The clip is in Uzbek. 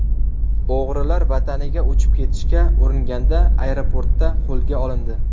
O‘g‘rilar vataniga uchib ketishga uringanda, aeroportda qo‘lga olindi.